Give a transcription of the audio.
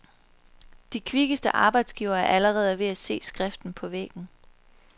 De kvikkeste arbejdsgivere er allerede ved at se skriften på væggen.